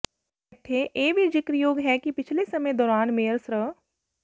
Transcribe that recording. ਇੱਥੇ ਇਹ ਵੀ ਜਿਕਰਯੋਗ ਹੈ ਕਿ ਪਿਛਲੇ ਸਮੇਂ ਦੌਰਾਨ ਮੇਅਰ ਸ੍ਰ